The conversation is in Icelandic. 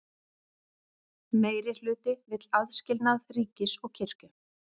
Meirihluti vill aðskilnað ríkis og kirkju